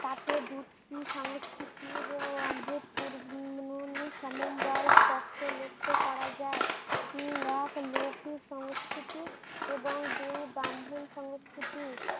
তাতে দুটি সংস্কৃতির অধভুত পুর ভিন্ন সমবায় স্পষ্ট লক্ষ্য করা যায়। উম এক লোখি সংস্কৃতি এবং দুই ব্রাম্মন সংস্কৃতি